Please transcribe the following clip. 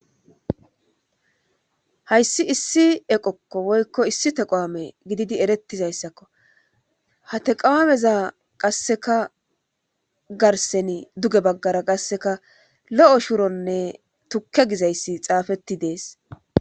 Hayssi issi eqokko woykko issi teqoame gididi erettizayssakko hate qawameza qasseka garseni duge baggara qasseka lo7o shuronne tukke gizayssi xaafetti dees.